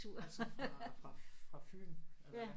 Var det så fra fra fra Fyn eller hvad